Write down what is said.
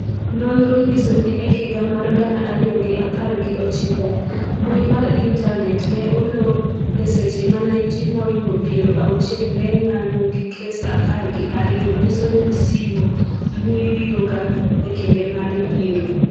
nonro nyiso ni e higa mar gana ariyo gi apar gi ochiko, mbui mar intanet ne olor eseche mane ji moingo piero auchiel ne ng'anyo gi kes apar gi ariyo nyiso ni simo mbui biro ga ekinde mar yiero